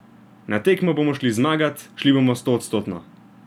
Na tekmo bomo šli zmagat, šli bomo stoodstotno.